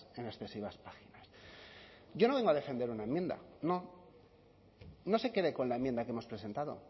en excesivas páginas yo no vengo a defender una enmienda no no se quede con la enmienda que hemos presentado